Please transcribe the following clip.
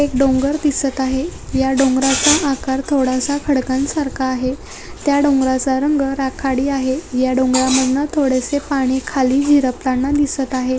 एक डोंगर दिसत आहे या डोंगराचा आकार थोडासा खडकांसारखा आहे त्या डोंगराचा रंग राखाडी आहे या डोंगरांमधनं थोडसे पाणी खाली झिरपताना दिसत आहे.